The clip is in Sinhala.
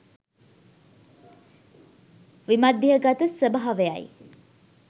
විමධ්‍යගත ස්වභාවයයි.